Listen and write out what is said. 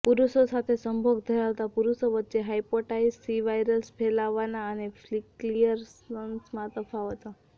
પુરુષો સાથે સંભોગ ધરાવતા પુરુષો વચ્ચે હાયપેટાઇટિસ સી વાયરલેસ ફેલાવાના અને ક્લિયરન્સમાં તફાવતો